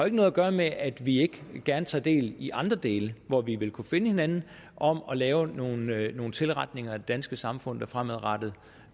ikke noget gøre med at vi ikke gerne tager del i andre dele hvor vi ville kunne finde hinanden om at lave nogle nogle tilretninger af det danske samfund der fremadrettet